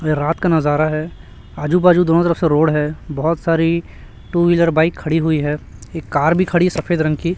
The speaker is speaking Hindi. और ये रात का नजारा है आजू बाजू दोनों तरफ से रोड है बहुत सारी टू व्हीलर बाइक खड़ी हुई है एक कार भी खड़ी सफेद रंग की।